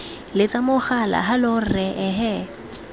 letsa mogala hallow rra ehe